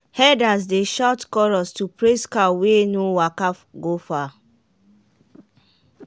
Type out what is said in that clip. herders dey shout chorus to praise cow wey no waka go far.